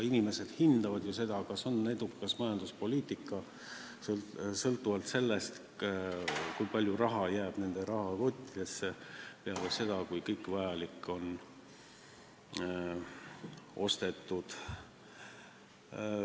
Inimesed hindavad seda, kas majanduspoliitika on edukas, sõltuvalt sellest, kui palju raha jääb nende rahakotti peale seda, kui kõik vajalik on ostetud.